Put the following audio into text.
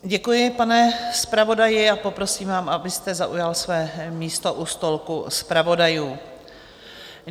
Děkuji, pane zpravodaji, a poprosím vás, abyste zaujal své místo u stolku zpravodajů.